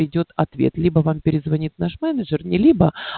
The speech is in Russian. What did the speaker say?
придёт ответ либо вам перезвонит наш менеджер либо